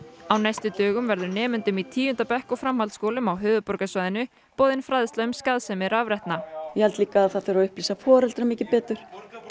á næstu dögum verður nemendum í tíunda bekk og framhaldsskólum á höfuðborgarsvæðinu boðin fræðsla um skaðsemi rafrettna ég held líka að það þurfi að upplýsa foreldra mikið betur